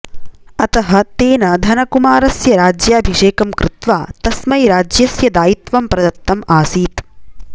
अतः तेन धनकुमारस्य राज्याभिषेकं कृत्वा तस्मै राज्यस्य दायित्वं प्रदत्तम् आसीत्